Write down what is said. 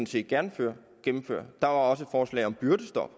set gerne gennemføre der var også et forslag om byrdestop